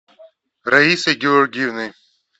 раисой георгиевной